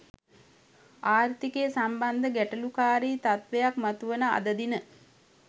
ආර්ථිකය සම්බන්ධ ගැටලුකාරී තත්ත්වයක් මතුවන අද දින